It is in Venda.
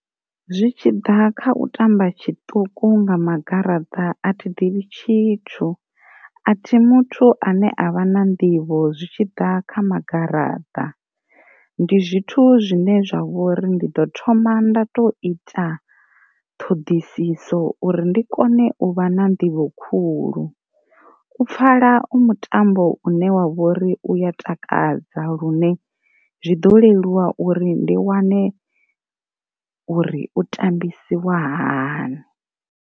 Zwi tshiḓa kha u tamba tshiṱuku nga magaraṱ a thi ḓivhi tshithu, a thi muthu ane avha na nḓivho zwi tshi ḓa kha magaḓa ndi zwithu zwine zwa vhori ndi ḓo thoma nda to ita ṱhoḓisiso uri ndi kone u vha na nḓivho khulu, u pfala u mutambo une wa vhori u ya takadza lune zwi ḓo leluwa uri ndi wane uri u tambisiwa hani.